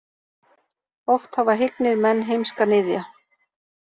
Oft hafa hyggnir menn heimska niðja.